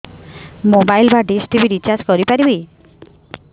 mobile ବା dish TV recharge କରି ପାରିବି